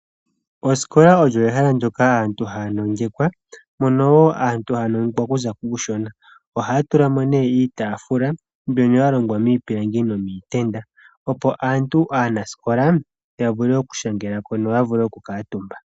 Osikola olyo ehala ndyoka aantu haa nongekwa, mono wo aantu haa nongekwa okuza kuushona. Ohaa tula mo nee iitaafula mbyono ya longwa miipilangi nomiitenda opo aantu aanasikola ya vule okushangela ko noya vule oku kuutumba.